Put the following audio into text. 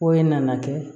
Ko e nana kɛ